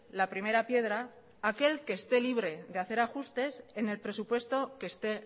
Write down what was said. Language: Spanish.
la primera piedra aquel que esté libre de hacer ajustes en el presupuesto que esté